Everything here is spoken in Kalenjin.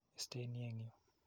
Isten ni eng' yu.